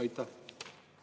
Aitäh, lugupeetud asespiiker!